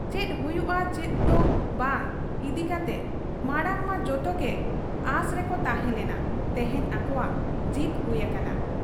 ᱪᱮᱫ ᱦᱩᱭᱩᱜ ᱟ ᱪᱮᱫ ᱫᱚ ᱵᱟᱝ ᱤᱫᱤᱠᱟᱛᱮ ᱢᱟᱬᱟᱝᱢᱟ ᱡᱚᱛᱚᱜᱮ ᱚᱟᱸᱥ ᱨᱮᱠᱚ ᱛᱟᱦᱮᱸ ᱞᱮᱱᱟ, ᱛᱮᱦᱮᱧ ᱟᱠᱚᱣᱟᱜ ᱡᱤᱛ ᱦᱩᱭ ᱟᱠᱟᱱᱟ